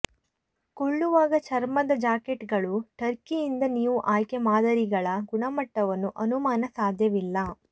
ಕೊಳ್ಳುವಾಗ ಚರ್ಮದ ಜಾಕೆಟ್ಗಳು ಟರ್ಕಿಯಿಂದ ನೀವು ಆಯ್ಕೆ ಮಾದರಿಗಳ ಗುಣಮಟ್ಟವನ್ನು ಅನುಮಾನ ಸಾಧ್ಯವಿಲ್ಲ